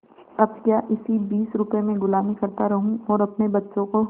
अब क्या इसी बीस रुपये में गुलामी करता रहूँ और अपने बच्चों को